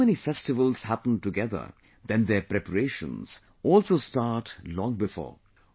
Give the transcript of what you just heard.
When so many festivals happen together then their preparations also start long before